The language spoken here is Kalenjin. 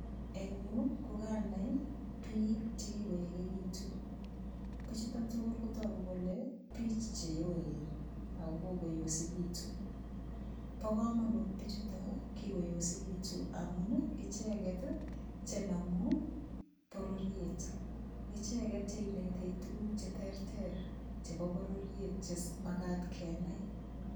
Eng' yu kukanai biik chekikoekekitu bichuto tugul kotogu kole biich cheyoen ako kokoyosekitu bo komonut bichuto kikoyosikitu amun icheget chenomu bororiet icheget cheinetech tuguk cheterter chebo bororiet chemakat kenai